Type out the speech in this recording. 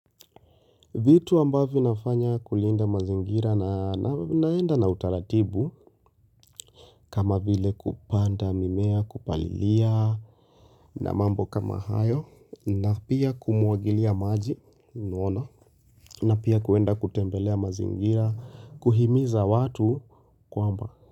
Vitu ambavyo nafanya kulinda mazingira na naenda na utaratibu kama vile kupanda mimea kupalilia na mambo kama hayo na pia kumwagilia maji na pia kuenda kutembelea mazingira kuhimiza watu kwamba.